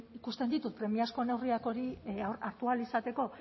ikusten ditut premiazko neurriak hori hartu ahal izateko